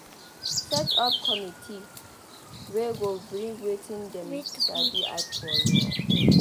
Set up committee wey go bring wetin dem sabi add for your own